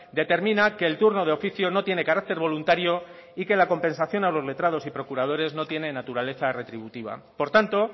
determina que el turno de oficio no tiene carácter voluntario y que la compensación a los letrados y procuradores no tiene naturaleza retributiva por tanto